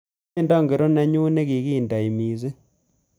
Tyendo ngori nenyu negindenoi mising